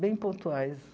Bem pontuais.